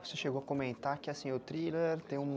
Você chegou a comentar que o thriller tem um...